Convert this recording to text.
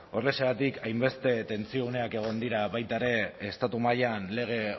horrexegatik hainbeste tentsio uneak egon dira baita ere estatu mailan lege